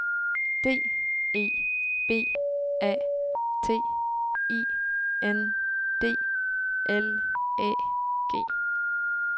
D E B A T I N D L Æ G